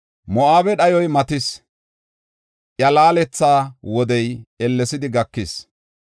Moo7abe dhayoy matatis; iya laaletetha wodey ellesidi gakis.